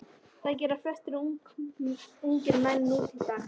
Það gera flestir ungir menn nútildags.